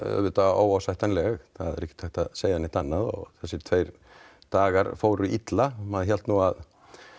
óásættanleg það er ekkert hægt að segja neitt annað og þessir tveir dagar fóru illa maður hélt að